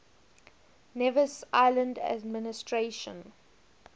nevis island administration